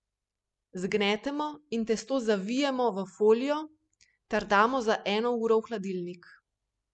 Zgnetemo in testo zavijemo v folijo ter damo za eno uro v hladilnik.